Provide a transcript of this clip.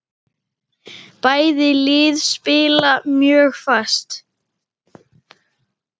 Bæði lið spila mjög fast.